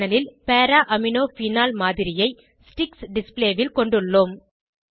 panel ல் para amino phenol மாதிரியை sticks display ல் கொண்டுள்ளோம்